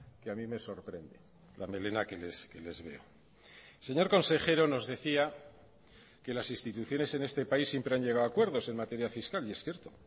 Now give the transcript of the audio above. que a mí me sorprende la melena que les veo señor consejero nos decía que las instituciones en este país siempre han llegado a acuerdos en materia fiscal y es cierto